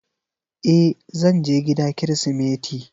E, zan je gida kirismeti.